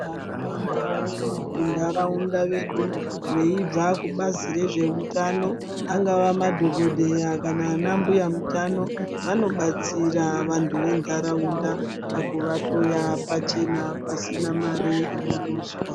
vanohambawo mundaraunda medu veibva kubazi rezvehutano angava madhokodheya kana ana mbuya hutano anobatsira vantu vendaraunda kuvahloya pachena pasina mare inoduswa.